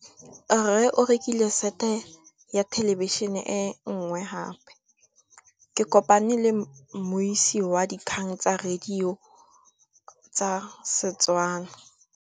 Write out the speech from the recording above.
Rre o rekile sete ya thêlêbišênê e nngwe gape. Ke kopane mmuisi w dikgang tsa radio tsa Setswana.